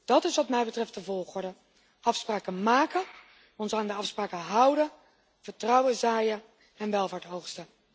Dat is wat mij betreft de volgorde afspraken maken, ons aan de afspraken houden, vertrouwen zaaien en welvaart oogsten.